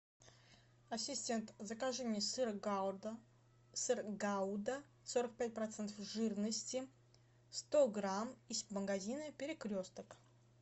ассистент закажи мне сыр гауда сыр гауда сорок пять процентов жирности сто грамм из магазина перекресток